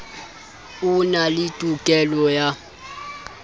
o na le tokelo ya